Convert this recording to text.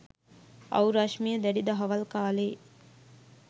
අව් රශිමිය දැඩි දහවල් කාලයේ